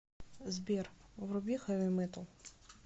сбер вруби хэви метал